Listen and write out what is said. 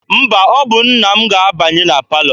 Mba, ọ bụ nna m ga-abanye na palọ.